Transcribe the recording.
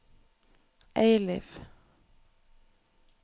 Eiliv